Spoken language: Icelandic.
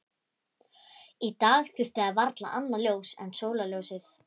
Í dag þurfti það varla annað ljós en sólarljósið.